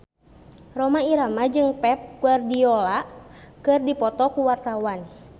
Rhoma Irama jeung Pep Guardiola keur dipoto ku wartawan